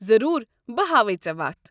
ضروٗر، بہٕ ہاویہ ژےٚ وتھ۔